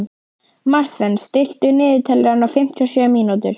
Marthen, stilltu niðurteljara á fimmtíu og sjö mínútur.